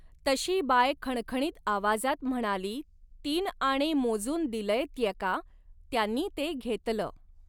तशी बाय खणखणीत आवाजात म्हणाली तीन आणे मोजून दिलंय त्येका, त्यांनी ते घेतलं